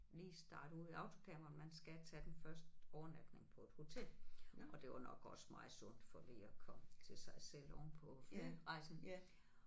Lige starte ud i autocamperen man skal tage den første overnatning på et hotel og det var nok også meget sundt for lige at komme til sig selv ovenpå flyrejsen